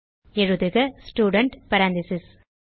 எழுதுக student parentheses